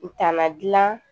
U tana dila